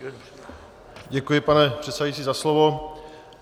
Děkuji, pane předsedající, za slovo.